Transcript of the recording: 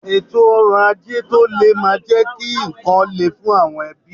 Ètò ọrọ̀ ajé tó le máa jẹ́ kí ǹkan le fún àwọn ẹbí.